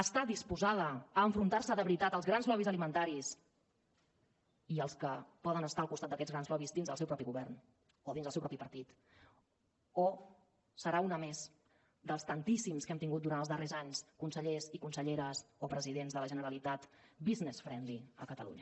està disposada a enfrontar se de veritat als grans lobbys alimentaris i als que poden estar al costat d’aquests grans lobbys dins del seu propi govern o dins del seu propi partit o serà una més dels tantíssims que hem tingut durant els darrers anys consellers i conselleres o presidents de la generalitat business friendly